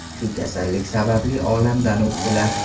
Shu kasallik sababli olamdan o‘tdilar.